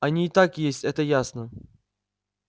они и так есть это ясно